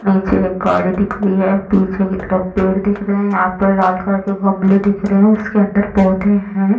निचे गाड़ी दिखा रही है पीछे पेड़ दिख रहे है आगे लाल कलर के गमले दिख रहे है उसके अंदर पौधे है।